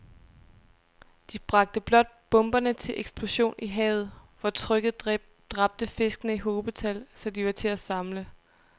De bragte blot bomberne til eksplosion i havet, hvor trykket dræbte fiskene i hobetal, så de var til at samle